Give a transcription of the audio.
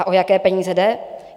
A o jaké peníze jde?